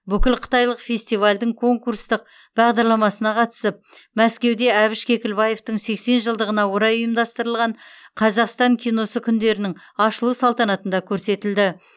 бүкілқытайлық фестивальдің конкурстық бағдарламасына қатысып мәскеуде әбіш кекілбаевтың сексен жылдығына орай ұйымдастырылған қазақстан киносы күндерінің ашылу салтанатында көрсетілді